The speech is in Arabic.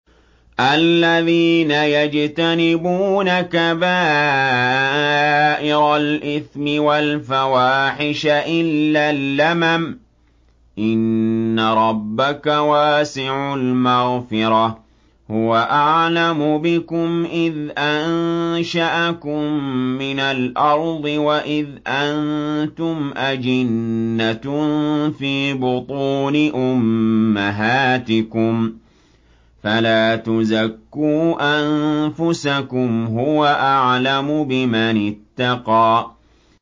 الَّذِينَ يَجْتَنِبُونَ كَبَائِرَ الْإِثْمِ وَالْفَوَاحِشَ إِلَّا اللَّمَمَ ۚ إِنَّ رَبَّكَ وَاسِعُ الْمَغْفِرَةِ ۚ هُوَ أَعْلَمُ بِكُمْ إِذْ أَنشَأَكُم مِّنَ الْأَرْضِ وَإِذْ أَنتُمْ أَجِنَّةٌ فِي بُطُونِ أُمَّهَاتِكُمْ ۖ فَلَا تُزَكُّوا أَنفُسَكُمْ ۖ هُوَ أَعْلَمُ بِمَنِ اتَّقَىٰ